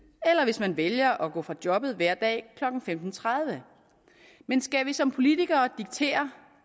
eller hvis man vælger at gå fra jobbet hver dag klokken femten tredive men skal vi som politikere diktere